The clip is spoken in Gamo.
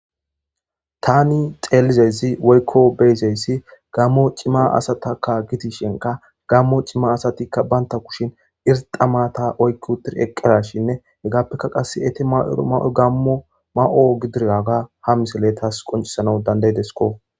taani xeelizezi woykko beyzeyssi gammo cimma asatakka gitishenka gammo cimma asatikka baynta kushin irxamata oykkutir eqqerashinne hegappekka qasse etti ma7oro ma7o gammo ma7o gidiraga ha misale taas qoncisana dandaydesko